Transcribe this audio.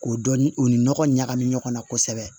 O dɔni o ni nɔgɔ ɲagami ɲɔgɔn na kosɛbɛ